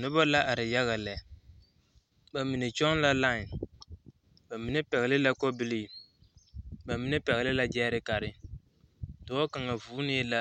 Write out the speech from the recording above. Noba la are yaga lɛ ba mine kyɔŋ la laen ba mine pɛgle la kɔbilii ba mine pɛgle la gyɛɛrekare dɔɔ kaŋa vuunee la